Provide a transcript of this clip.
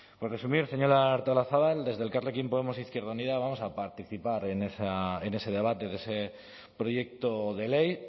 por resumir señora artolazabal desde elkarrekin podemos izquierda unida vamos a participar en ese debate de ese proyecto de ley